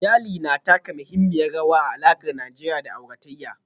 Iyali na taka muhimmiyar rawa a alakar Najeriya da auratayya